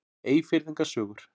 Eyfirðinga sögur.